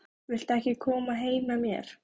Viltu ekki koma heim með mér?